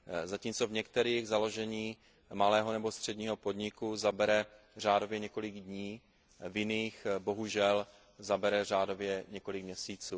Zatímco v některých založení malého nebo středního podniku zabere řádově několik dní, v jiných bohužel zabere řádově několik měsíců.